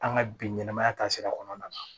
An ka bi ɲɛnɛmaya taasira kɔnɔna na